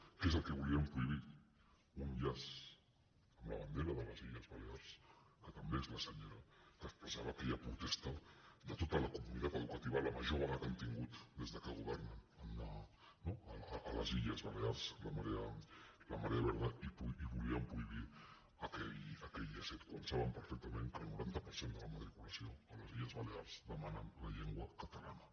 què és el que volien prohibir un llaç amb la bandera de les illes balears que també és la senyera que expressava aquella protesta de tota la comunitat educativa la major vaga que han tingut des que governen no a les illes balears la marea verda i volien prohibir aquell llacet quan saben perfectament que el noranta per cent de la matriculació a les illes balears demana la llengua catalana